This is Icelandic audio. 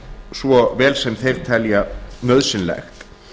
svo vel sem þeir telja nauðsynlegt